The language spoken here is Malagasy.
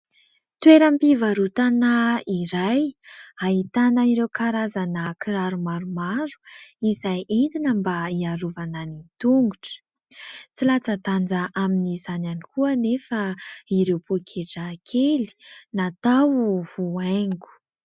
Toeram-pivarotana iray ahitana ireo karazana kiraro maromaro izay entina mba hiarovana ny tongotra. Tsy latsan-danja amin'izany ihany koa anefa ireo poketra kely natao ho haingo.